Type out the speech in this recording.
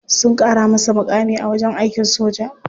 Sun kara masa mukami a wajen aikin soja.